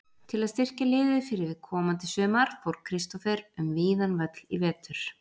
Til að styrkja liðið fyrir komandi sumar fór Kristófer um víðan völl í vetur.